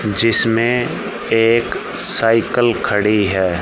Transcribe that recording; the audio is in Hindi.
जिसमें एक सायकल खड़ी है।